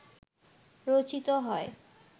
রচিত হয়